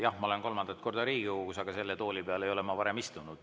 Jah, ma olen kolmandat korda Riigikogus, aga selle tooli peal ei ole ma varem istunud.